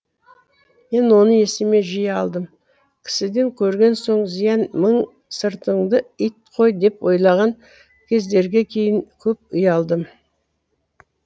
мен оны есіме жиі алдым кісіден көрген соң зиян мың сыртыңды ит қой деп ойлаған кездерге кейін көп ұялдым